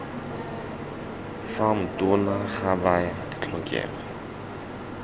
fam tona ga baya ditlhokego